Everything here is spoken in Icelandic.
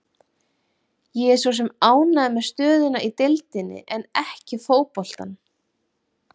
Ég er svo sem ánægður með stöðuna í deildinni en ekki fótboltann.